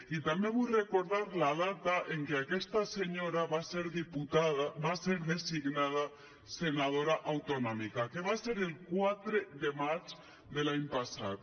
i també vull recordar la data en què aquesta senyora va ser designada senadora autonòmica que va ser el quatre de maig de l’any passat